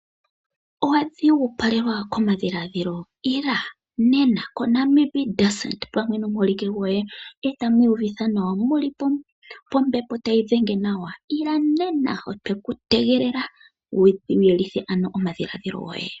Owa dhigupalelwa komadhiladhilo ila nena koNamib desert nomuholike goye etamu uvitha nawa, mu li pombepo tayi dhenge nawa wu ye wu vululukithe omadhilaadhilo goye.